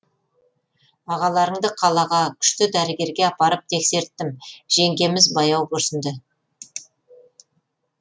ағаларыңды қалаға күшті дәрігерге апарып тексерттім жеңгеміз баяу күрсінді